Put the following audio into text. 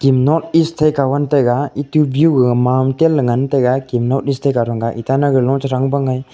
em northeast thaika wall taiga etu biew gaga mountain la ngan taiga kem northeast thega ronga itanagar lo chethrang bang ai.